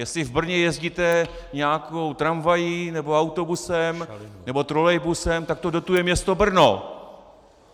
Jestli v Brně jezdíte nějakou tramvají nebo autobusem nebo trolejbusem, tak to dotuje město Brno.